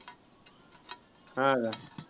हां का.